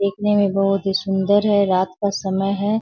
देखने में बहुत ही सुन्दर है रात का समय है।